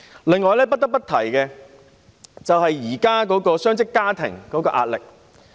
此外，我亦不得不提述雙職家庭的壓力。